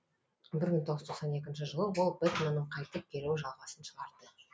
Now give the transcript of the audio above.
бір мың тоғыз жүз тоқсан екінші жылы ол бэтменнің қайтып келуі жалғасын шығарды